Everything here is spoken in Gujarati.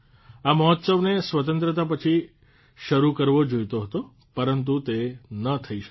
આ મહોત્સવને સ્વતંત્રતા પછી શરૂ કરવો જોઇતો હતો પરંતુ તે ન થઇ શક્યો